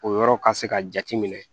O yɔrɔ ka se ka jateminɛ